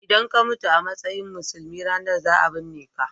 in ka mutu a matsayin musulmi ranan za a binneka